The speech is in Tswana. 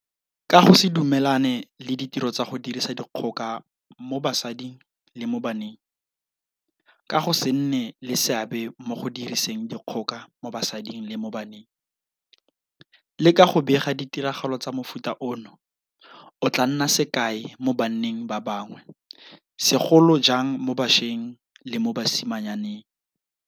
Ka go se dumelane le ditiro tsa go dirisa dikgoka mo basading le mo baneng, ka go se nne le seabe mo go diriseng dikgoka mo basading le mo baneng, le ka go bega ditiragalo tsa mofuta ono, o tla nna sekai mo banneng ba bangwe, segolo jang mo bašweng le mo basimanyaneng.